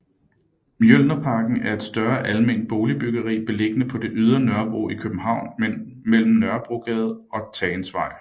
Mjølnerparken er et større alment boligbyggeri beliggende på det ydre Nørrebro i København mellem Nørrebrogade og Tagensvej